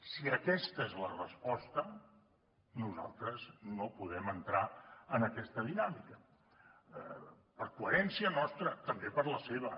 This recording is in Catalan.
si aquesta és la resposta nosaltres no podem entrar en aquesta dinàmica per coherència nostra també per la seva